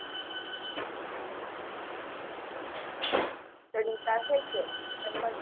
study સાથે જ એમજ